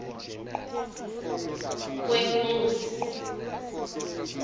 kwenkosi